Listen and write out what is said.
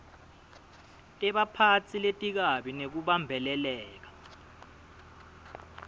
tebaphatsi letikabi nekubambeleleka